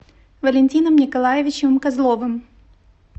валентином николаевичем козловым